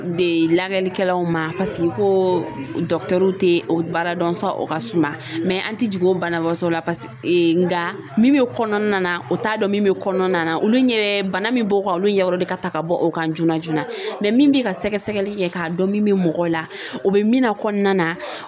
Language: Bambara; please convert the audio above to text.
De lagɛlikɛlaw ma paseke ko tɛ o baara dɔn o ka suma an tɛ jigin o banabagatɔ la pase nga min bɛ kɔnɔna na o t'a dɔn min bɛ kɔnɔna na olu ɲɛ bɛ bana min b'o kan olu ɲɛkɔrɔ o de ka ta ka bɔ o kan joona joona min bɛ ka sɛgɛsɛgɛli kɛ k'a dɔn min bɛ mɔgɔw la o bɛ min na kɔnɔna na